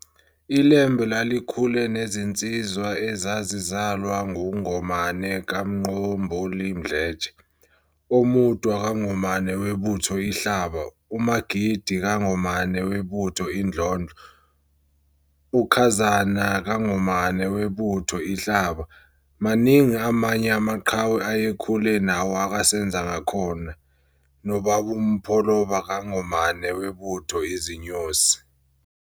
ILembe lalikhule nezinsizwa ezazizalwa nguNgomane kaMqomboli Mdletshe, oMudwa kaNgomane webutho iHlaba, uMagidi kaNgomane webutho iNdlondlo, uKhazana kaNgomane webutho iHlaba, maningi amanye amaqahwe ayekhule nawo okaSenzangakhona, nab'oMapholoba kaNgomane webutho iZinyosi.